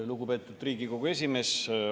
Lugupeetud Riigikogu esimees!